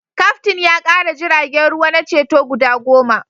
Kaftin ya kara jiragen ruwa na ceto guda goma